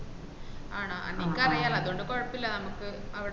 ആഹ് നിനക്ക് അറിയാലോ അതോണ്ട് കൊയപ്പലാ നമ്മക്ക് അവട നോക്കീട്ട്ചെ യ്യാ